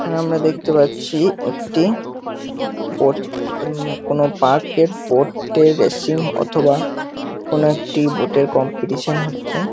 এখানে আমরা দেখতে পাচ্ছি একটি বোট উম কোন পার্ক -এর বোট -এর রেসিং অথবা কোন একটি বোটের কম্পিটিশন হচ্ছে।